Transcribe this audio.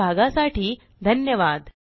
सहभागासाठी धन्यवाद